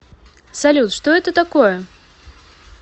салют что это такое